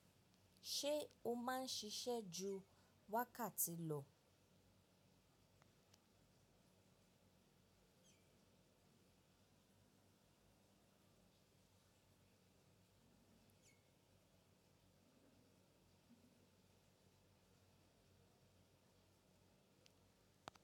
Ṣé o máa ń ṣiṣẹ́ ju wákàtí lọ?